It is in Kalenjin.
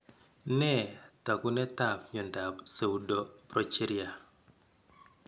Nee taakunetaab myondap Pseudoprogeria?